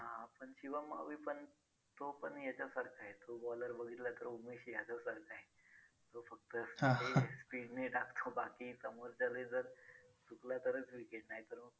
पण शिवम मावीपण तो पण याच्यासारखा आहे तो bowler बघितला तर उमेश यादव सारखा आहे. तो फक्त speed ने टाकतो बाकी समोरच्याने जर चुकला तरच wicket नाहीतर मग